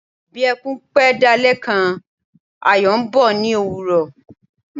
Bí ẹkún pẹ́ dalẹ́ kan Ayọ̀ ń bọ̀ ní òwúrọ̀.